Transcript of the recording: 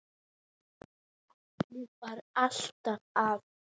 Halli var alltaf að.